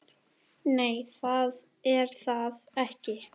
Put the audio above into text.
Nei, það er það ekki.